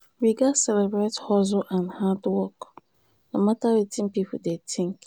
we gats celebrate hustle and hard work no matter wetin pipo dey think.